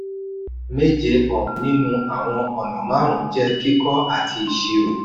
méje um nínú àwọn ọ̀nà márùn jẹ́ kíkọ àti ìṣirò.